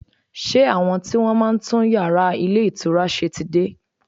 Ṣé àwọn tí wọ́n máa ń tún yàrá ilé ìtura ṣe ti dé?